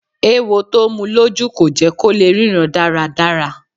Ewo tó mu lójú kò jẹ́ kó lè ríran dáradára.